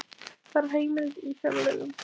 Þarf heimild í fjárlögum